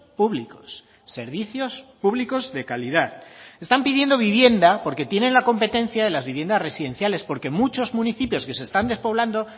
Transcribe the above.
públicos servicios públicos de calidad están pidiendo vivienda porque tienen la competencia de las viviendas residenciales porque muchos municipios que se están despoblando